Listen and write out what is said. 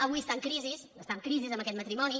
avui està en crisi està en crisi aquest ma·trimoni